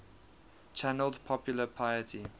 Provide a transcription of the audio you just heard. channeled popular piety